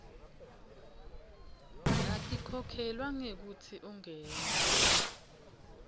atikhokhelwa ngekutsi ungene